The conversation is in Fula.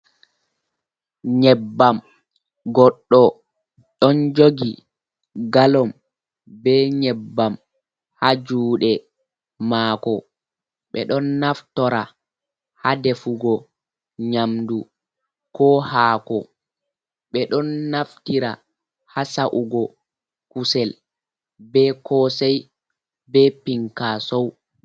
Nyebbam, goɗɗo ɗon jogi galom be nyebbam, haa juuɗe maako ɓe ɗon naftora haa defugo nyaamdu, ko haako, ɓe ɗon naftira haa sa’ugo kusel, be koosey, be pinkaasow.